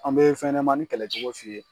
An bɛ fɛn ɲɛnɛmani kɛlɛ cogo f'i ye.